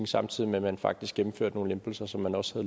samtidig med at man faktisk gennemførte nogle lempelser som man også